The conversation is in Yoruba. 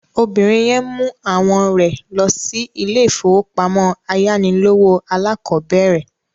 Obìnrin yẹn mú àwọn rẹ̀ lọ sí ilé-ìfowópamọ́sí ayánilówó alákọ̀bẹ̀rẹ̀